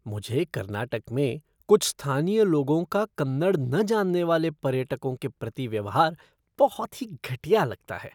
मुझे कर्नाटक में कुछ स्थानीय लोगों का कन्नड़ न जानने वाले पर्यटकों के प्रति व्यवहार बहुत ही घटिया लगता है।